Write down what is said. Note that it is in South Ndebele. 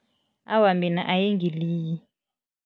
Awa, mina ayingiliyi.